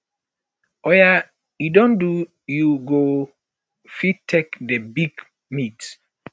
oya um e don do you go um fit take the big meat